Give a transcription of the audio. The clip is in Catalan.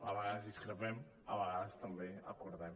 a vegades discrepem a vegades també acordem